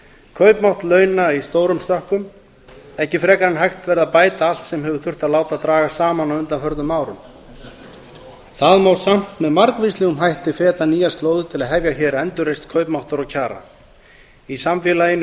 kaupmátt launa í stórum stökkum ekki frekar en hægt verði að bæta allt sem hefur þurft að láta draga saman á undanförnum árum það má samt með margvíslegum hætti feta nýjar slóðir til að hefja hér endurreisn kaupmáttar og kjara í samfélaginu